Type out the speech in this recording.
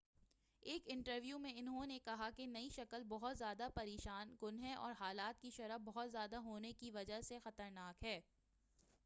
ایک انٹرویو میں انہوں نے کہا کہ نئی شکل بہت زیادہ پریشان کن ہے اور ہلاکت کی شرح بہت زیادہ ہونے کی وجہ سے زیادہ خطرناک ہے